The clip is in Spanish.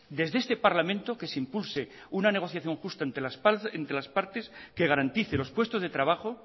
desde este parlamento que se impulse una negociación justa entre las partes que garantice los puestos de trabajo